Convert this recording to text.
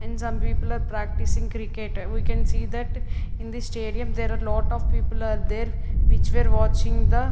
And some people are practicing cricket. We can see that in the stadium there are lot of people are there which were watching the --